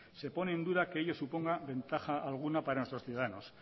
se pone en duda que ello suponga ventaja alguna para nuestros ciudadanos